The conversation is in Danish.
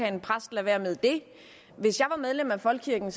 en præst lade være med det hvis jeg var medlem af folkekirken